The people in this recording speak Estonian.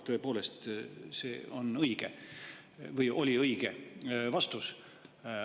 Tõepoolest, see oli õige vastus.